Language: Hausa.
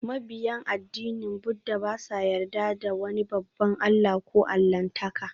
Mabiyan addinin Buddah ba sa yarda da wani babban allah ko allahntaka